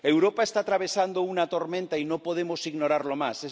Europa está atravesando una tormenta y no podemos ignorarlo más.